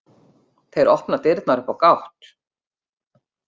Þeir opna dyrnar upp á gátt.